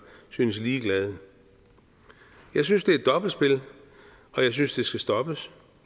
synes ligeglade jeg synes det er dobbeltspil og jeg synes det skal stoppes